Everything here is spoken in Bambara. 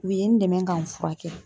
U ye n dɛmɛ ka n furakɛ.